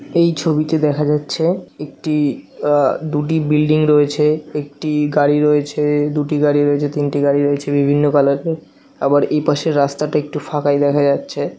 এই ছবিতে দেখা যাচ্ছে একটি আ দুটি বিল্ডিং রয়েছে একটি গাড়ি রয়েছে দুটি গাড়ি রয়েছে তিনটি গাড়ি রয়েছে বিভিন্ন কালার এর আবার এই পাশে রাস্তাটা একটু ফাঁকাই দেখা যাচ্ছে ।